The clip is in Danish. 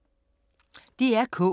DR K